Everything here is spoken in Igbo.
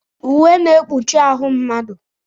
Uwe na-ekpuchi ahụ mmadụ.